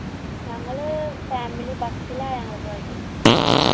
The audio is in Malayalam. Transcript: ഞങ്ങള് family bus ലായാണ് പോയത്